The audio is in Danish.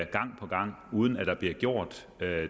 gang på gang uden at der bliver gjort